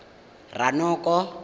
ranoko